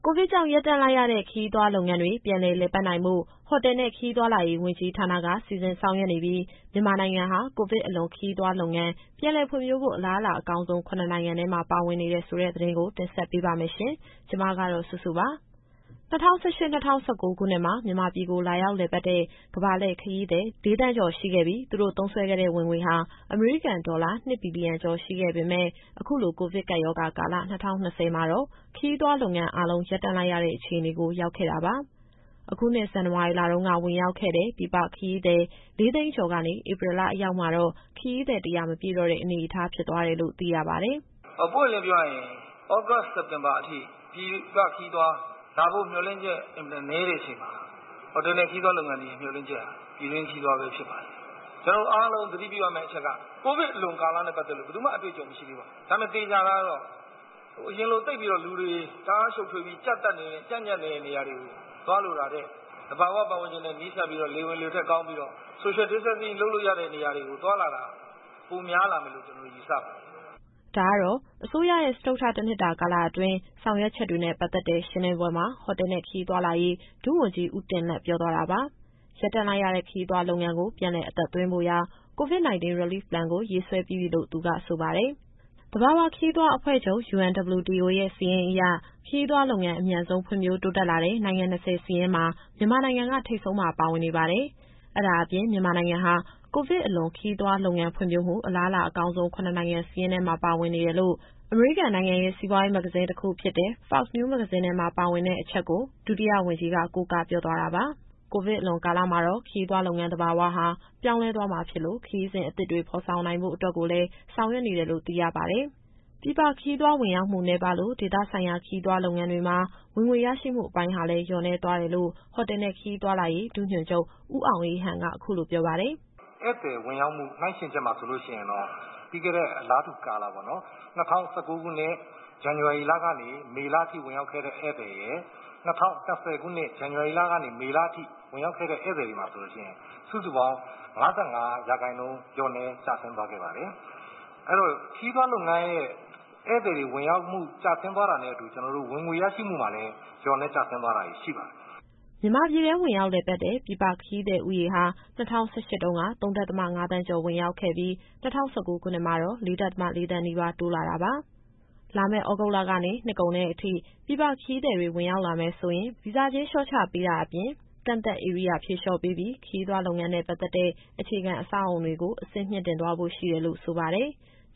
ိုဗစ်ကြောင့် ရပ်တန့်လိုက်ရတဲ့ ခရီးသွားလုပ်ငန်းတွေ ပြန်လည်လည်ပတ်နိုင်ဖို့ ဟိုတယ်နဲ့ ခရီးသွားဝန်ကြီးဌာနက စီစဉ်ဆောင်ရွက်နေပြီး မြန်မာနိုင်ငံဟာ ကိုဗစ်အလွန် ခရီးသွားလုပ်ငန်း ပြန်လည်ဖွံ့ဖြိုးဖို့ အလားအလာအကောင်းဆုံး ၇ နိုင်ငံထဲမှာ ပါဝင်နေတယ်ဆိုတဲ့သတင်းကို ဗွီအိုအေမြန်မာပိုင်းသတင်းထောက် မစုစုက တင်ဆက်ပေးပါမယ်။ ၂၀၁၈-၂၀၁၉ ခုနှစ်မှာ မြန်မာပြည်ကို လာရောက်လည်ပတ်တဲ့ ကမ္ဘာလှည့်ခရီးသည် ၄,၀၀၀,၀၀၀ ကျော်ရှိခဲ့ပြီး သူတို့သုံးစွဲခဲ့တဲ့ ဝင်ငွေဟာ အမေရိကန်ဒေါ်လာ ၂ ဘီလီယံကျော်ရှိခဲ့ပေမဲ့ အခုကိုဗစ်ကပ်ရောဂါကာလ ၂၀၂၀ မှာတော့ ခရီးသွားလုပ်ငန်းအားလုံး ရပ်တန့်လိုက်ရတဲ့အခြေအနေကို ရောက်ခဲ့တာပါ။ အခုနှစ် ဇန်နဝါရီလတုန်းက ဝင်ရောက်ခဲ့တဲ့ ပြည်ပခရီးသည် ၄၀၀,၀၀၀ ကျော်ကနေ ဧပြီလအရောက်မှာတော့ ခရီးသည် ၁၀၀ မပြည့်တော့တဲ့အနေအထား ဖြစ်သွားတယ်လို့ သိရပါတယ်။ “ပွင့်ပွင့်လင်းလင်းပြောရရင် သြဂုတ် - စက်တင်ဘာအထိ ပြည်ပခရီးသွား လာဖို့မျှော်လင့်ချက် အင်မတန်နည်းတဲ့အချိန်မှာ ဟိုတယ်နဲ့ ခရီးသွားလုပ်ငန်းတွေရဲ့ မျှော်လင့်ချက်ဟာ ပြည်တွင်း ခရီးသွားပဲဖြစ်ပါတယ်။ ကျနော်တို့ အားလုံးသတိပြုရမယ့်အချက်က ကိုဗစ်အလွန်ကာလနဲ့ ပတ်သက်လို့ ဘယ်သူမှ အတွေ့အကြုံမရှိသေးပါဘူး။ ဒါပေမဲ့ သေချာတာကတော့ အရင်လိုလူတွေ တအားရှုပ်ထွေးပြီး ကြပ်ညပ်နေတဲ့နေရာတွေကို သွားလိုတာထက် သဘာဝပတ်ဝန်းကျင်နဲ့ နီးစပ်ပြီးတော့ လေဝင်လေထွက်ကောင်းပြီးတော့ Social Distancing လုပ်လို့ရတဲ့နေရာတွေကို သွားလာတာ ပိုများလာမယ်လို့ ကျနော်တို့ယူဆပါတယ်။” ဒါကတော့ အစိုးရရဲ့ စတုတ္ထ တနှစ်တာကာလအတွင်း ဆောင်ရွက်ချက်တွေနဲ့ ပတ်သက်တဲ့ရှင်းလင်းပွဲမှာ ဟိုတယ်နဲ့ ခရီးသွားလာရေး ဒုဝန်ကြီး ဦးတင်လတ်ပြောသွားတာပါ။ ရပ်တန့်လိုက်ရတဲ့ ခရီးသွားလုပ်ငန်းကို ပြန်လည်အသက်သွင်းဖို့ရာ COVID- 19 Relief Plan ကို ရေးဆွဲပြီးပြီလို့ သူကဆိုပါတယ်။ သဘာဝခရီးသွားအဖွဲ့ချုပ် UNWTO (World Tourism Organization) ရဲ့ စာရင်းအရ ခရီးသွားလုပ်ငန်း အမြန်ဆုံး ဖွံ့ဖြိုးတိုးတက်လာတဲ့ နိုင်ငံ ၂၀ စာရင်းမှာ မြန်မာနိုင်ငံက ထိပ်ဆုံးမှာ ပါဝင်နေပါတယ်။ မြန်မာနိုင်ငံဟာ ကိုဗစ်အလွန် ခရီးသွားလုပ်ငန်းဖွံ့ဖြိုးမှု အလားအလာအကောင်းဆုံး ၇ နိုင်ငံစာရင်းထဲမှာ ပါဝင်နေတယ်လို့ အမေရိကန် Forbes မဂ္ဂဇင်းထဲက အချက်ကို ဒုဝန်ကြီးက ကိုးကားပြောသွားတာပါ။ ကိုဗစ်အလွန်ကာလမှာတော့ ခရီးသွားလုပ်ငန်းသဘာဝဟာ ပြောင်းလဲသွားမှာဖြစ်လို့ ခရီးစဉ်အသစ်တွေ ဖော်ထုတ်နိုင်ဖို့ကိုလည်း ဆောင်ရွက်နေတယ်လို့ သိရပါတယ်။ ပြည်ပခရီးသွား ဝင်ရောက်မှုနည်းပါးလို့ ဒေသဆိုင်ရာ ခရီးသွားလုပ်ငန်းတွေမှာ ဝင်ငွေရရှိမှုအပိုင်းဟာလည်း လျော့နည်းသွားတယ်လို့ ဟိုတယ်နဲ့ ခရီးသွားလာရေး ဒုညွှန်ချုပ် ဦးအောင်အေးဟန်က အခုလိုပြောပါတယ်။ “ဧည့်သည်ဝင်ရောက်မှု နှိုင်းယှဉ်ချက်မှာ ပြီးခဲ့တဲ့ အလားတူကာလ ၂၀၁၉ခုနှစ် ဇန်နဝါရီကနေ မေလအထိဝင်ရောက်ခဲ့တဲ့ ဧည့်သည်ရယ်၊ ၂၀၂၀ ခုနှစ် ဇန်နဝါရီကနေ မေအထိဝင်ရောက်ခဲ့တဲ့ ဧည့်သည်တွေမှာ စုစုပေါင်း ၅၅ ရာခိုင်နှုန်း လျှော့နည်းကျဆင်းသွားခဲ့ပါတယ်။ အဲတော့ ခရီးသွားလုပ်ငန်းရဲ့ ဧည့်သည်ဝင်ရောက်မှု ကျဆင်းသွားတာနဲ့အတူ ဝင်ငွေရရှိမှုမှာလည်း လျော့နည်းကျဆင်းသွားတာတွေ ရှိပါတယ်။” မြန်မာပြည်တွင်း ဝင်ရောက်လည်ပတ်တဲ့ ပြည်ပခရီးသည်ဦးရေဟာ ၂၀၁၈ တုန်းက ၃.၅ သန်းကျော် ဝင်ရောက်ခဲ့ပြီး၊ ၂၀၁၉ခုနှစ်မှာ ၄.၄ သန်းနီးပါး တိုးလာတာပါ။ လာမယ့် သြဂုတ်လကနေ နှစ်ကုန်တဲ့အထိ ပြည်ပခရီးသည်တွေ ဝင်ရောက်လာမယ်ဆိုရင် ဗီဇာကြေး လျှော့ချပေးတာအပြင် ကန့်သတ်ဧရိယာဖြေလျော့ပေးပြီး ခရီးသွားလုပ်ငန်းနဲ့ပတ်သက်တဲ့ အခြေခံအဆောက်အအုံတွေကို အဆင့်မြှင့်တင်သွားဖို့ ရှိတယ်လို့ဆိုပါတယ်။